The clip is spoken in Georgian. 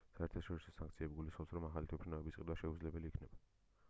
საერთაშორისო სანქციები გულისხმობს რომ ახალი თვითმფრინავების ყიდვა შეუძლებელი იქნება